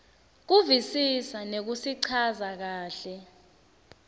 kuvisisa nekusichaza kahle